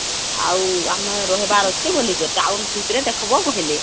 ଆଉ ଆମେ ରହିବାର ଅଛି ବୋଲିକରି town ଭିତରେ ଦେଖବ କହିଲେ